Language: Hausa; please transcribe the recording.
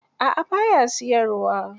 A'a ba ya siyarwa.